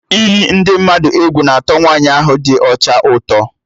Iyi ndị mmadụ egwu na atọ Nwaanyi ahụ dị ọcha ụtọ